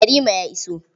Yarima ya iso.